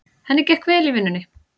Henni gekk vel í vinnunni.